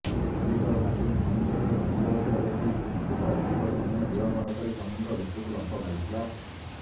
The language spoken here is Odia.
ମାଲିକର ନାତୁଣୀ ସମୁଦ୍ରରେ ଭାସିଯାଉଥିବା ଦେଖି ପୋଷାକୁକୁର ସମୟ ବିଳମ୍ବ ନକରି ସମୁଦ୍ର ଭିତରକୁ ଲମ୍ଫ ମାରିଥିଲା